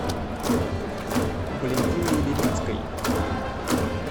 валентиной левицкой